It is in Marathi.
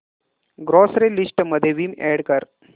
ग्रॉसरी लिस्ट मध्ये विम अॅड कर